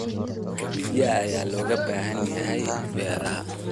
Kabidda ayaa looga baahan yahay beeraha.